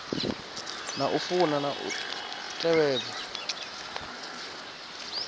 na funa na u tevhedza